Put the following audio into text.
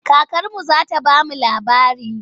Kakarmu za ta ba mu labari.